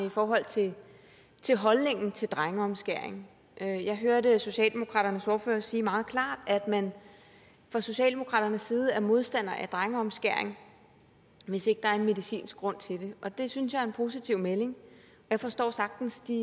i forhold til til holdningen til drengeomskæring jeg hørte socialdemokratiets ordfører sige meget klart at man fra socialdemokratiets side er modstander af drengeomskæring hvis ikke der er en medicinsk grund til det og det synes jeg er en positiv melding jeg forstår sagtens de